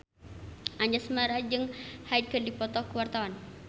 Anjasmara jeung Hyde keur dipoto ku wartawan